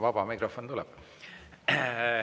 Vaba mikrofon tuleb.